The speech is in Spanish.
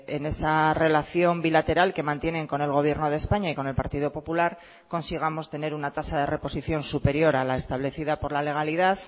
en esa relación bilateral que mantienen con el gobierno de españa y con el partido popular consigamos tener una tasa de reposición superior a la establecida por la legalidad